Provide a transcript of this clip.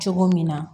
Cogo min na